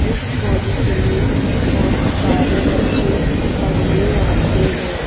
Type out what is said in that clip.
इस कॉलेज में बहुत सारे बच्चे पढ़ने आते हैं।